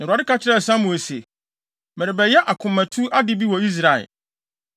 Na Awurade ka kyerɛɛ Samuel se, “Merebɛyɛ akomatu ade bi wɔ Israel.